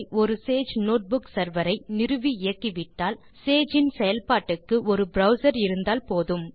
ஒரு Sage notebook server ஐ நிறுவி இயக்கிவிட்டால் சேஜ் இன் செயல்பாட்டுக்கு ஒரு ப்ரவ்சர் இருந்தால் போதும்